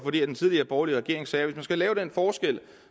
fordi den tidligere borgerlige regering sagde at hvis man skal lave den forskel